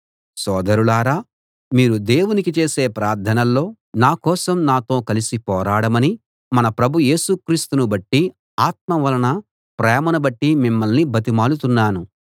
సోదరులారా మీరు దేవునికి చేసే ప్రార్థనల్లో నా కోసం నాతో కలిసి పోరాడమని మన ప్రభు యేసు క్రీస్తును బట్టి ఆత్మ వలన ప్రేమను బట్టి మిమ్మల్ని బతిమాలుతున్నాను